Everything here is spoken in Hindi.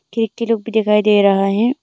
एक किलों पे दिखाई दे रहा है।